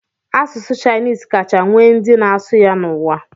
Asụsụ Chinis kacha nwee ndị na-asụ ya n'ụwa.